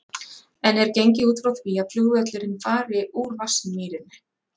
En er gengið út frá því að flugvöllurinn fari úr Vatnsmýrinni?